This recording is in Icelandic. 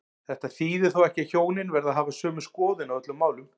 Þetta þýðir þó ekki að hjónin verði að hafa sömu skoðun á öllum málum.